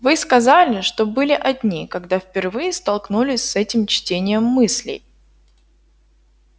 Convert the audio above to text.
вы сказали что были одни когда впервые столкнулись с этим чтением мыслей